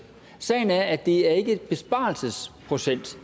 sagen er at det ikke er en besparelsesprocent